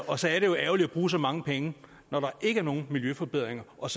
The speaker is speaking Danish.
og så er det jo ærgerligt at bruge så mange penge når der ikke er nogen miljøforbedringer og